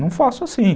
Não faço assim.